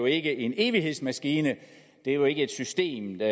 ikke er en evighedsmaskine det er jo ikke et system der